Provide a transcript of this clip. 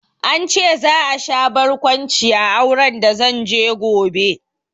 An ce za a sha barkwanci a auren da zanje gobe